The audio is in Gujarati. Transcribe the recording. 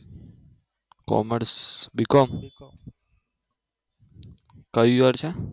commerce બીકોમ કયું યર છે?